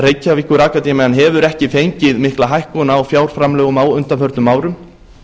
reykjavíkurakademían hefur ekki fengið mikla hækkun á fjárframlögum á undanförnum árum